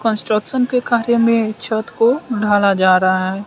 Construction के कार्य में छत को ढाला जा रहा है।